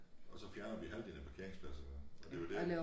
Og så fjerner vi havdelen af parkeringspladserne og det jo dét